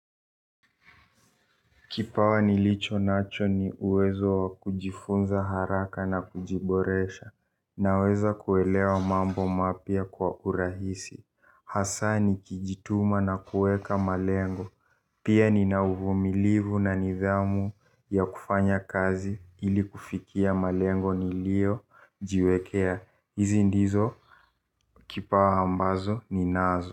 Kipawa nilicho nacho ni uwezo kujifunza haraka na kujiboresha, naweza kuelewa mambo mapia kwa urahisi. Hasani kijituma na kueka malengo, pia ni nauvumilivu na nidhamu ya kufanya kazi ili kufikia malengo nilio jiwekea. Hizi ndizo kipawa ambazo ni nazo.